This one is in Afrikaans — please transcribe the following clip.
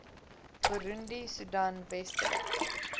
burundi soedan westelike